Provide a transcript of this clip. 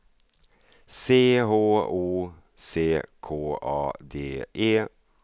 C H O C K A D E